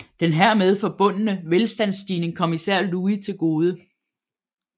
Den hermed forbundne velstandsstigning kom især Louis til gode